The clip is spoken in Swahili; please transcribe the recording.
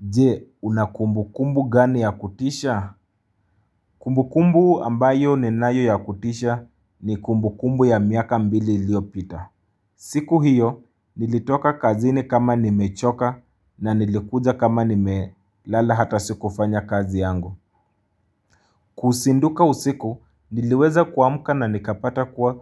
Je, una kumbu kumbu gani ya kutisha? Kumbu kumbu ambayo ninayo ya kutisha ni kumbu kumbu ya miaka mbili ilio pita. Siku hiyo, nilitoka kazini kama nimechoka na nilikuja kama nimelala hata sikufanya kazi yangu. Kusinduka usiku, niliweza kuamuka na nikapata kwa